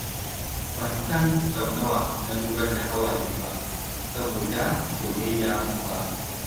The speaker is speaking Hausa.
Ban san sau nawa na zubar da hawaye saboda soyayya ba.